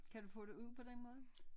Kan du få det ud på den måde